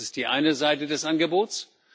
Das ist die eine Seite des Angebots.